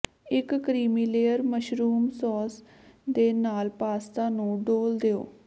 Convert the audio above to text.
ਇੱਕ creamy layer mushroom sauce ਦੇ ਨਾਲ ਪਾਸਤਾ ਨੂੰ ਡੋਲ੍ਹ ਦਿਓ